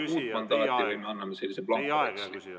Riigikogu vajab uut mandaati või me anname sellise blankoveksli?